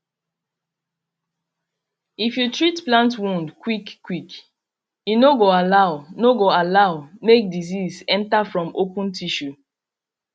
if you treat plant wound quick quick e no go allow no go allow make disease enter from open tissue